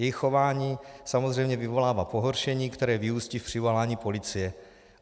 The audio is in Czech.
Jejich chování samozřejmě vyvolává pohoršení, které vyústí v přivolání policie.